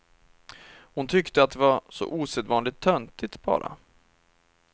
Hon tyckte att det var så osedvanligt töntigt, bara.